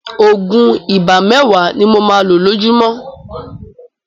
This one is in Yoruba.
Òògùn ibà mẹ́wàá ni mo máa lo lójúmọ́.